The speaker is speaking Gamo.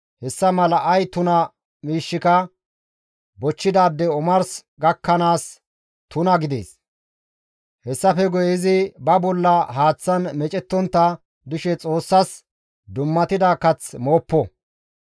hessa mala ay tuna miishshika bochchidaadey omars gakkanaas tuna gidees; hessafe guye izi ba bolla haaththan meecettontta dishe Xoossas dummatida kath mooppo.